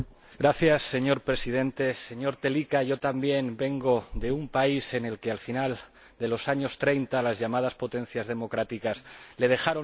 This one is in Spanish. Señor Presidente, señor Telička, yo también vengo de un país al que, al final de los años treinta, las llamadas potencias democráticas dejaron solo.